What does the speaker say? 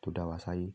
tó dá wa ṣáyé.